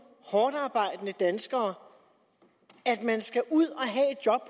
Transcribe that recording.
hårdtarbejdende danskere at man skal ud